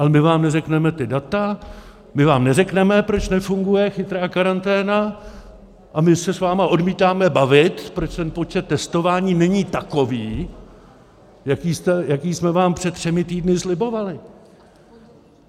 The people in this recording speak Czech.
Ale my vám neřekneme ta data, my vám neřekneme, proč nefunguje chytrá karanténa, a my se s vámi odmítáme bavit, proč ten počet testování není takový, jaký jsme vám před třemi týdny slibovali.